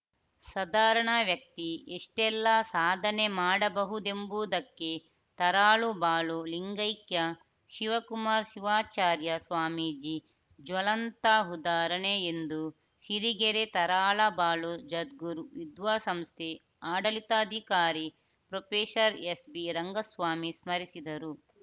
ಸಧಾರಣ ವ್ಯಕ್ತಿ ಎಷ್ಟೆಲ್ಲಾ ಸಾಧನೆ ಮಾಡಬಹುದೆಂಬುದಕ್ಕೆ ತರಾಳಬಾಳು ಲಿಂಗೈಕ್ಯ ಶಿವಕುಮಾರ್ ಶಿವಾಚಾರ್ಯ ಸ್ವಾಮೀಜಿ ಜ್ವಲಂತ ಉದಾಹರಣೆ ಎಂದು ಸಿರಿಗೆರೆ ತರಾಳಬಾಳು ಜಗದ್ಗುರು ವಿದ್ಯಾಸಂಸ್ಥೆ ಆಡಳಿತಾಧಿಕಾರಿ ಪ್ರೊಫೆಸರ್ ಎಸ್‌ಬಿರಂಗ ಸ್ವಾಮಿ ಸ್ಮರಿಸಿದರು